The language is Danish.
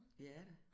Ja da